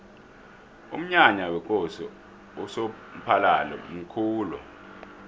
umnyanya wekosi usomphalili mkhulu